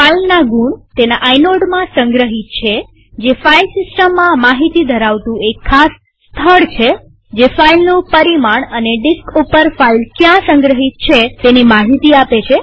ફાઈલના ગુણ તેના આઈનોડમાં સંગ્રહિત છેતે ફાઈલ સિસ્ટમમાં માહિતી ધરાવતું એક ખાસ સ્થળ છે જે ફાઈલનું પરિમાણ અને ડિસ્ક ઉપર ફાઈલ ક્યાં સંગ્રહિત છે તેની માહિતી આપે છે